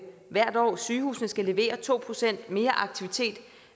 hvert år at sygehusene skal levere to procent mere aktivitet